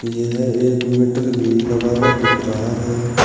यह एक मीटर भी लगा हुआ दिख रहा है।